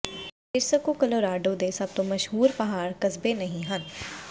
ਫੇਰਸਕੋ Colorado ਦੇ ਸਭ ਤੋਂ ਮਸ਼ਹੂਰ ਪਹਾੜ ਕਸਬੇ ਨਹੀਂ ਹੈ